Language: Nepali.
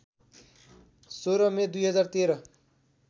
१६ मे २०१३